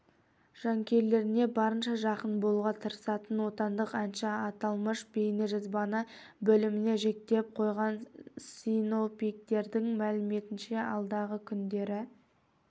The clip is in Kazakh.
жанкүйерлеріне барынша жақын болуға тырысатын отандық әнші аталмыш бейнежазбаны бөліміне жүктеп қойған синоптиктердің мәліметінше алдағы күндері